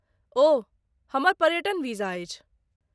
ओऽऽऽ ... हमर पर्यटन वीजा अछि।